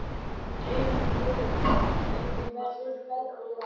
Brimrún, hvernig verður veðrið á morgun?